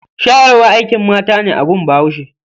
Shayarwa akin mata ne a gun bahuashe.